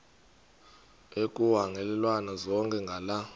ekuhhalelwana zona ngala